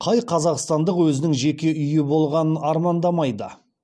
қай қазақстандық өзінің жеке үйі болғанын армандамайды